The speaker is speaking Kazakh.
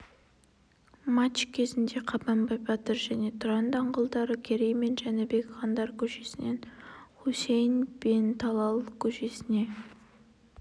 матч кезінде қабанбай батыр және тұран даңғылдары керей мен жәнібек хандар көшесінен хусейн бен талал көшесіне